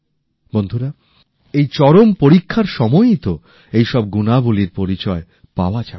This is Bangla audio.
বন্ধুরা এই চরম পরীক্ষার সময়ই তো এইসব গুনাবলীর পরিচয় পাওয়া যাবে